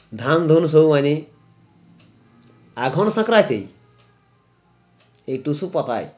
ধান ধুন সব আনি এখন স্যকরা কী এ টুসু পকায়